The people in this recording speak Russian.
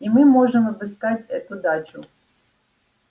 и мы можем обыскать эту дачу